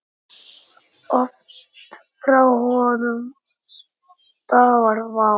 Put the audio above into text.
Oft frá honum stafar vá.